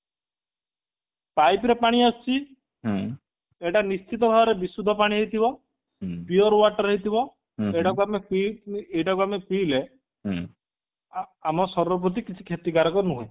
pipe ର ପାଣି ଆସୁଛି ହେଇଟା ନିଛିନ୍ତ ଭାବରେ ବିଶୁଦ୍ଧ ପାଣି ହେଇଥିବ pure water ହେଇଥିବ ଏଇଟାକୁ ଆମେ ପିଇ ଏଇଟାକୁ ଆମେ ପିଇଲେ ଆମ ଶରୀର ପ୍ରତି କିଛି କ୍ଷତିକାରକ ନୁହେଁ